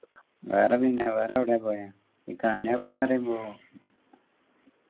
വേറെ പിന്നെ വേറെ എവിടെയാ പോയെ ഈ കാന പോയി പറയുമ്പോ